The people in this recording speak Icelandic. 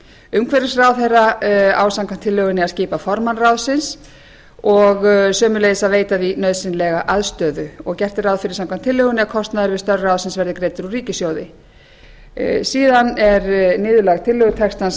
umhverfisráðherra á samkvæmt tillögunni að skipa formann ráðsins og sömuleiðis að veita því nauðsynlega aðstöðu og gert er ráð fyrir samkvæmt tillögunni að kostnaður við störf ráðsins verði greiddur úr ríkissjóði síðan er niðurlag tillögu textans